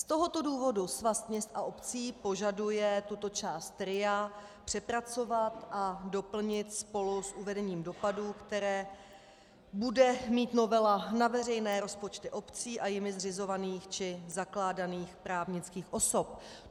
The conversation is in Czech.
Z tohoto důvodu Svaz měst a obcí požaduje tuto část RIA přepracovat a doplnit spolu s uvedením dopadů, které bude mít novela na veřejné rozpočty obcí a jimi zřizovaných či zakládaných právnických osob.